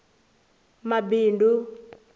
mabindu